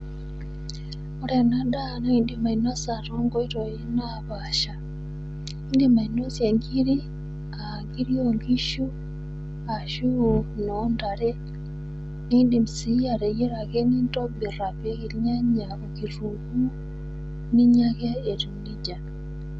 Ore ena daa naa indim ainosa too nkoitoi napaasha, indim ainosie inkiri, aa inkirir o nkishu ashu inoo ntare, nindim sii ateyiara ake, nintobir apik ilnyanya okitunguu, ninya ake etiu neija.